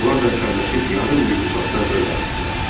Onlar da əsəbləşib yarım mil uzaqda lövbər atdılar.